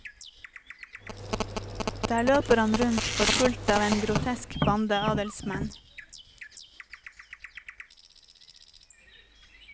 Der løper han rundt forfulgt av en grotesk bande adelsmenn.